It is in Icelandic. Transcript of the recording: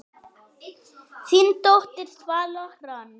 Þín dóttir, Svala Hrönn.